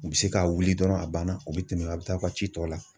U bɛ se k'a wuli dɔrɔnw, a banna ,u bɛ tɛmɛ a bɛ taa aw ka ci tɔw la.